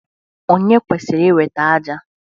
Ònye kwesịrị iweta ájá?